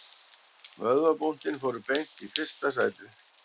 Vöðvabúntin fóru beint í fyrsta sætið